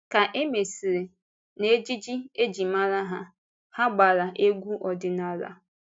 Ká e mesịrị, n’ejíjí e ji mara ha, ha gbàrà egwu ọdịnala.